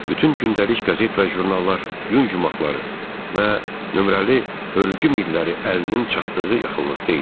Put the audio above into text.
Bütün gündəlik qəzet və jurnallar, yun yummaqları və nömrəli hörgü milləri əlinin çatdığı yaxınlıqda idi.